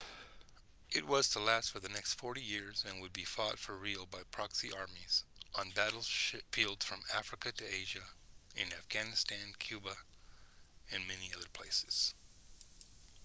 it was to last for the next 40 years and would be fought for real by proxy armies on battlefields from africa to asia in afghanistan cuba and many other places